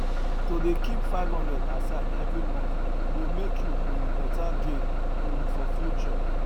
to dey keep 500 aside every month go make you um better gain um for future